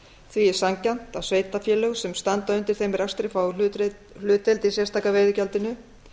því er sanngjarnt að sveitarfélög sem standa undir þeim rekstri fái hlutdeild í sérstaka veiðigjaldinu